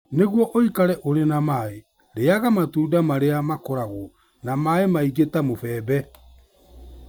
Nĩguo ũikare ũrĩ na maĩ, rĩaga matunda marĩa makoragwo na maĩ maingĩ ta mũbembe.